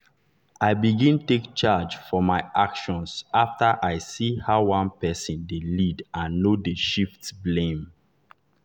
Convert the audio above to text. i begin take charge for my actions after i see how one person dey lead and no dey shift blame.